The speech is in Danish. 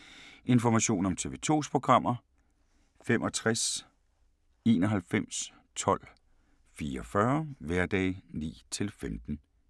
Information om TV 2's programmer: 65 91 12 44, hverdage 9-15.